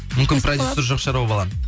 мүмкін продюсері жоқ шығар ол баланың